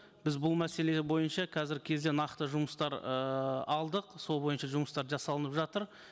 біз бұл мәселе бойынша қазіргі кезде нақты жұмыстар ыыы алдық сол бойынша жұмыстар жасалынып жатыр